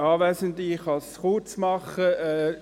Ich kann es kurz machen.